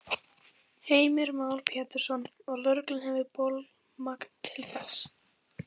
Heimir Már Pétursson: Og lögreglan hefur bolmagn til þess?